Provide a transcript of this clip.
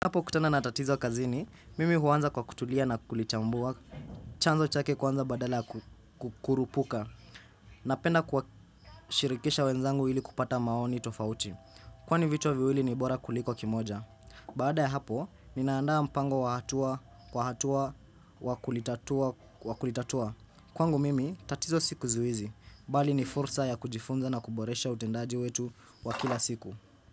Hapo kutana na tatizo kazini, mimi huanza kwa kutulia na kulichambua, chanzo chake kwanza badala kukurupuka, na penda kwa shirikisha wenzangu ili kupata maoni tofauti. Kwani vichwa viwili ni bora kuliko kimoja. Baada ya hapo, ninaandaa mpango wahatua, kwa hatua, wakulitatua, wakulitatua. Kwangu mimi, tatizo sikuzuizi, bali ni fursa ya kujifunza na kuboresha utendaji wetu wakila siku.